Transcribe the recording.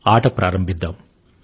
ఆట ను మొదలుపెడదాము